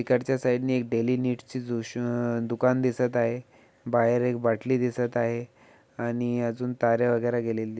इकडच्या साइड ने एक डेली नीड च अ दुकान दिसत आहे बाहेर एक बाटली दिसत आहे आणि अजून तारा वगैरे गेलेली दि--